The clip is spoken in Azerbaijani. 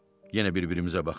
Yenə bir-birimizə baxdıq.